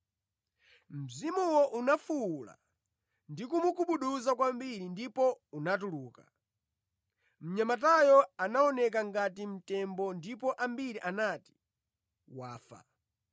Mzimuwo unafuwula ndi kumugubuduza kwambiri ndipo unatuluka. Mnyamatayo anaoneka ngati mtembo ndipo ambiri anati, “Wafa.”